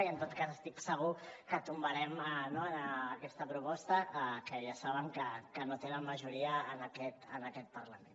i en tot cas estic segur que tombarem no aquesta proposta que ja saben que no tenen majoria en aquest parlament